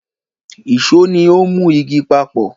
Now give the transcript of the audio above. Ìṣó ni ó ń mú igi papọ̀